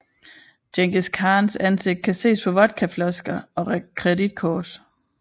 Djengis Khans ansigt kan ses på vodkaflasker og kreditkort